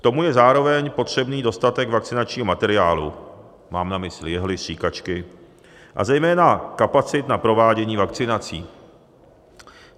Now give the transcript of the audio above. K tomu je zároveň potřebný dostatek vakcinačního materiálu - mám na mysli jehly, stříkačky - a zejména kapacit na provádění vakcinací.